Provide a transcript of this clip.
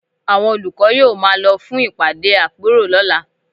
Àwọn olùkọ́ yóò máa lọ fún ìpàdé àpérò lọ́la